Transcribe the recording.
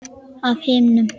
Af himnum?